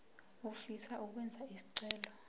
ofisa ukwenza isicelo